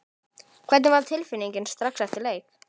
Hvernig var tilfinningin strax eftir leik?